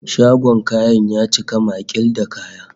Shagon kayan ya cika maƙil da kaya